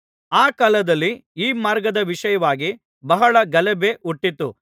ಆ ಕಾಲದಲ್ಲಿ ಈ ಮಾರ್ಗದ ವಿಷಯವಾಗಿ ಬಹಳ ಗಲಭೆ ಹುಟ್ಟಿತು